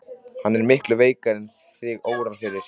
Hann er miklu veikari en þig órar fyrir.